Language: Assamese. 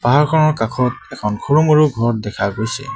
পাহাৰখনৰ কাষত এখন সৰু মৰু ঘৰ দেখা গৈছে।